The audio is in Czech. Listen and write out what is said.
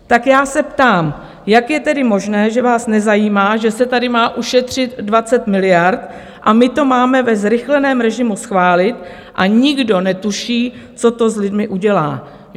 Tak já se ptám, jak je tedy možné, že vás nezajímá, že se tady má ušetřit 20 miliard a my to máme ve zrychleném režimu schválit a nikdo netuší, co to s lidmi udělá?